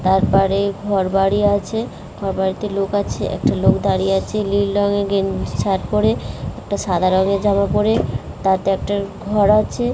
তার পাড়ে ঘরবাড়ি আছে ঘরবাড়িতে লোক আছে একটা লোক দাঁড়িয়ে আছে লীল রঙের গেন শার্ট পরে একটা সাদা রঙের জামা পরে তাতে একটা ঘর আছে ।